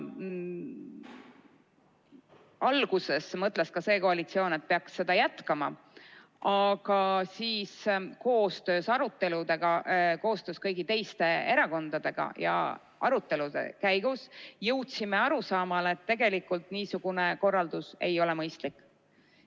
Alguses mõtles ka see koalitsioon, et peaks seda tava jätkama, aga siis jõudsime koostöös kõigi teiste erakondadega arutelude käigus arusaamale, et tegelikult niisugune korraldus ei ole mõistlik.